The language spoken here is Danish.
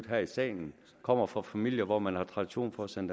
her i salen kommer fra familier hvor man har tradition for at sende